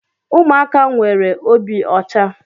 Ụmụaka nwere obi ọcha.